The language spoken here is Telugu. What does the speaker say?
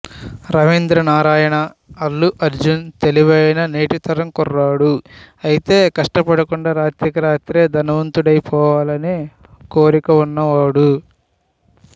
రవీంద్ర నారాయణ అల్లు అర్జున్ తెలివైన నేటి తరం కుర్రాడు అయితే కష్టపడకుండా రాత్రికి రాత్రే ధనవంతుడైపోవాలనే కోరిక ఉన్నవాడు